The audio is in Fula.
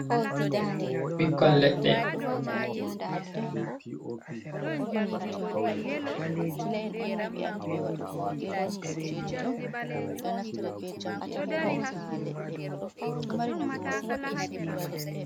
Ɓikkon leɗɗe.